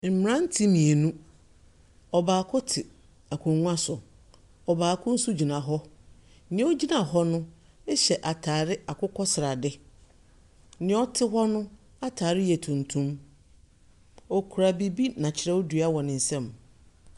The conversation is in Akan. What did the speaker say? Mmranteɛ mmienu. Ɔbaako te akonnwa so. Ɔbaako nso gyina hɔ. Nea ogynia hɔ no hyɛ ataade akokɔsrade. Nea ɔte hɔ no atar yɛ tuntum. Okuraɛ biribi na kyerɛwdua wɔ ne nsam.